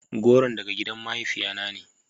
Goron daga gidan mahaifiya na ne.